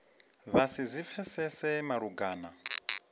vha si zwi pfesese malugana